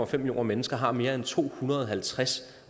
fem millioner mennesker har mere end to hundrede og halvtreds